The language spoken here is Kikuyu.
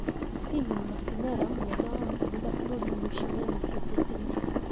Stephen Masimela, mũnene wa makanitha bũrũrinĩ ũcio nĩanyitĩte itemi